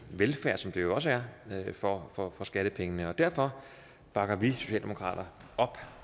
velfærd som det jo også er for for skattepengene derfor bakker vi i socialdemokratiet op